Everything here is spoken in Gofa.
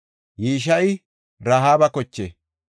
Yisheyi Rahaaba koche.